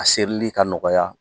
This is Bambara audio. A serili ka nɔgɔya